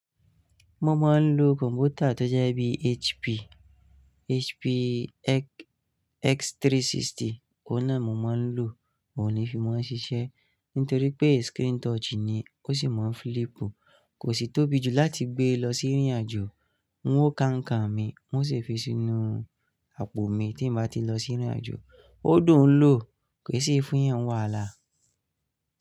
Mo máa ń lo kọ̀m̀pútà tó jẹ́ bíi HP, HP X360, òun náà mo máa ń lò, oun ní fi máa ń ṣiṣẹ́ nítorí pé screen touch ni, ó sì mọ́ n flip, kò sì tóbi jù láti gbé lọ sí ìrìnàjò. N wo ka nǹkan mi, n o ṣè fi sínú àpò mi tí n bá ti n lọ sí ìrìnàjò. Ó dùn ún lò, kò sì fún ìyàn n wàhálà.